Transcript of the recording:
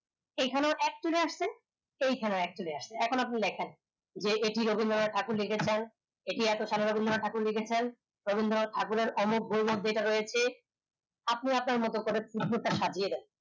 এই খানে আসতেন এই খানে আসলে এখন আপনি লেখেন যে এটি রবীন্দ্রনাথ ঠাকুর লেখেছেন এটি এত সালে রবীন্দ্রনাথ ঠাকুর লেখেছেন রবীন্দ্রনাথ ঠাকুরের অমুক রয়েছে আপনি আপনার মত সাজিয়ে যাবেন